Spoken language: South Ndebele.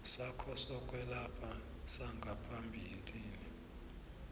sakho sokwelapha sangaphambilini